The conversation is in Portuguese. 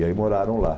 E aí moraram lá.